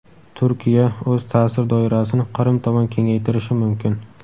Turkiya o‘z ta’sir doirasini Qrim tomon kengaytirishi mumkin.